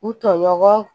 U tɔɲɔgɔn